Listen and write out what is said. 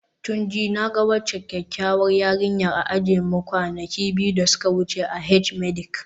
Tunji, na ga waccan kyakkyawar yarinyar a ajinmu kwana biyu da suka wuce a H-medic